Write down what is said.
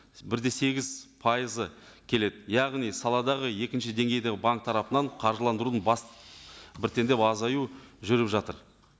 бір де сегіз пайызы келеді яғни саладағы екінші деңгейдегі банк тарапынан қаржыландырудың бас біртіндеп азаю жүріп жатыр